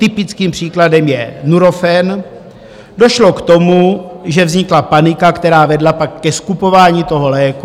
Typickým příkladem je Nurofen - došlo k tomu, že vznikla panika, která vedla pak ke skupování toho léku.